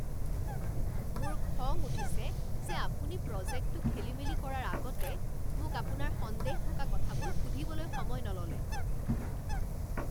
মোৰ খং উঠিছে যে আপুনি প্ৰজেক্টটো খেলিমেলি কৰাৰ আগতে মোক আপোনাৰ সন্দেহ থকা কথাবোৰ সুধিবলৈ সময় নল'লে।